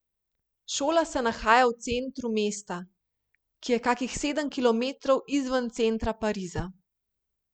Šola se nahaja v centru mesta, ki je kakih sedem kilometrov izven centra Pariza.